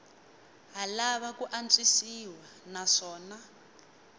ha lava ku antswisiwa naswona